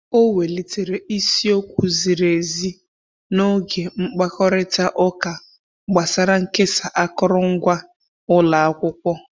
O welitere isi okwu ziri ezi n'oge mkpakorịta ụka gbasara nkesa akụrụngwa ụlọ akwụkwọ.